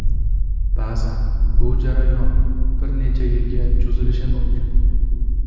Ba’zan bu jarayon bir necha yilga cho‘zilishi mumkin.